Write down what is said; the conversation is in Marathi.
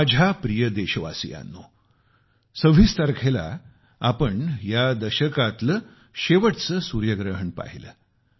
माझ्या प्रिय देशवासियांनो 26 तारखेला आपण या दशकातील शेवटचे सूर्यग्रहण पाहिले